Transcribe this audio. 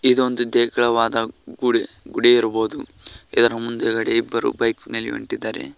ಇದೊಂದು ದೇಗುಲವಾದ ಗುಡಿ ಗುಡಿ ಇರಬಹುದು ಇದರ ಮುಂದುಗಡೆ ಇಬ್ಬರು ಬೈಕ್ ನಿಲುವಿಟ್ಟಿದ್ದಾರೆ.